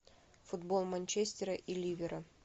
футбол манчестера и ливера